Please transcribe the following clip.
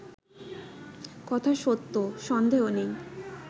কথা সত্য সন্দেহ নেই